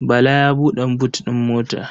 Bala ya buɗe but ɗin mota.